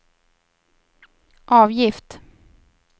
avgift